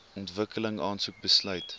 ontwikkeling aansoek besluit